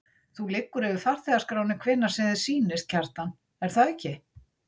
Þú liggur yfir farþegaskránni hvenær sem þér sýnist, Kjartan, er það ekki?